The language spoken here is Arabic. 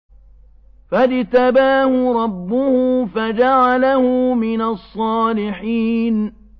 فَاجْتَبَاهُ رَبُّهُ فَجَعَلَهُ مِنَ الصَّالِحِينَ